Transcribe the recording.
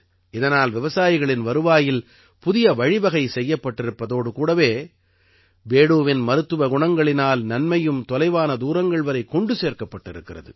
இதனால் விவசாயிகளின் வருவாயில் புதிய வழிவகை செய்யப்பட்டிருப்பதோடு கூடவே பேடூவின் மருத்துவ குணங்களினால் நன்மையும் தொலைவான தூரங்கள் வரை கொண்டு சேர்க்கப்பட்டிருக்கிறது